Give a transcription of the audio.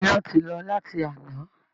Iná ti lọ láti àná